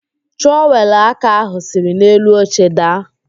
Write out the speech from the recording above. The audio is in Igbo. Trọwelụ aka ahụ siri n'elu oche daa.